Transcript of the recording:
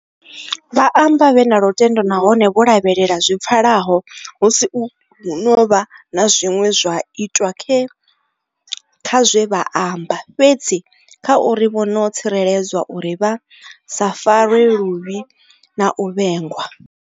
Vha amba vhe na lutendo nahone vho lavhelela zwi pfa laho hu si u hu no vha na zwine zwa itwa kha zwe vha amba, fhedzi kha uri vha no tsireledzwa uri vha sa farwe luvhi na u vhengwa.